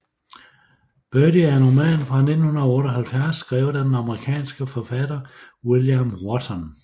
Birdy er en roman fra 1978 skrevet af den amerikanske forfatter William Wharton